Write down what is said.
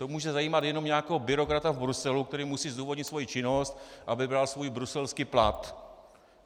To může zajímat jenom nějakého byrokrata v Bruselu, který musí zdůvodnit svoji činnost, aby bral svůj bruselský plat.